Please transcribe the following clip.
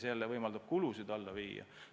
See ju võimaldab kulusid vähendada.